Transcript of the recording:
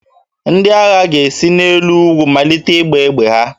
Ndị agha ga-esi n'elu ugwu malite ịgba egbe ha